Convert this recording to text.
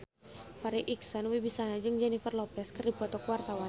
Farri Icksan Wibisana jeung Jennifer Lopez keur dipoto ku wartawan